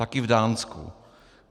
Taky v Dánsku.